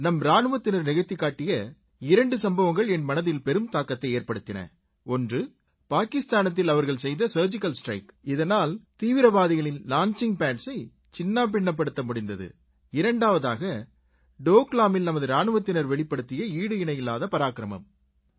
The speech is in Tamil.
நம் இராணுவத்தினர் நிகழ்த்திக் காட்டிய இரண்டு சம்பவங்கள் என் மனதில் பெரும் தாக்கத்தை ஏற்படுத்தின ஒன்று பாகிஸ்தானத்தில் அவர்கள் செய்த சர்ஜிக்கல் ஸ்ட்ரைக் இதனால் தீவிரவாதிகளின் லான்ச்சிங் padsஐ சின்னாபின்னப்படுத்த முடிந்தது இரண்டாவதாக டோக்லாமில் நமது ராணுவத்தினர் வெளிப்படுத்திய ஈடு இணையில்லாத பராக்கிரமம்